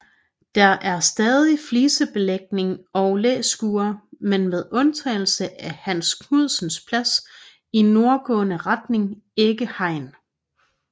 Der er stadig flisebelægning og læskure men med undtagelse af Hans Knudsens Plads i nordgående retning ikke hegn